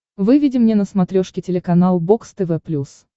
выведи мне на смотрешке телеканал бокс тв плюс